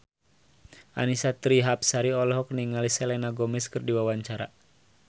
Annisa Trihapsari olohok ningali Selena Gomez keur diwawancara